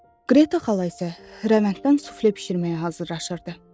Qreta xala isə rəvənddən sufle bişirməyə hazırlaşırdı.